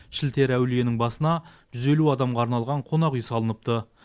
шілтері әулиенің басына жүз елу адамға арналған қонақүй салыныпты